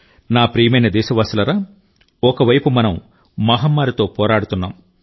నా ప్రియమైన దేశ వాసులారా ఒక వైపు మనం మహమ్మారితో పోరాడుతున్నాం